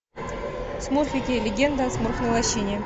смурфики легенда о смурфной лощине